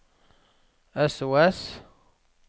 sos